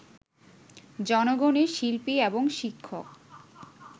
জনগণের শিল্পী এবং শিক্ষক